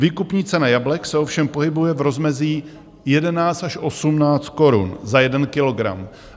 Výkupní cena jablek se ovšem pohybuje v rozmezí 11 až 18 korun za jeden kilogram.